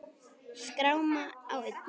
Skráma á enni.